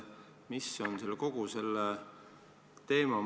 Mis on kogu selle asja mõte?